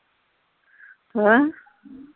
ਹੈਂ।